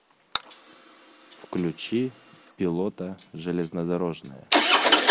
включи пилота железнодорожная